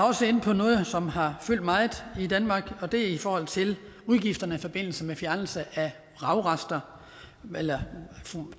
også inde på noget som har fyldt meget i danmark og det er i forhold til udgifterne i forbindelse med fjernelse af vragrester eller